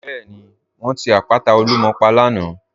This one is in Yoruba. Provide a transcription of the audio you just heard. Bẹẹni, wọn ti àpàtà Olúmọ̀ pà lànà.